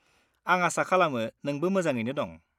आं आसा खालामो नोंबो मोजाङैनो दं!